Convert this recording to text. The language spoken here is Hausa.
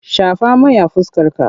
Shafa mai a fuskarka!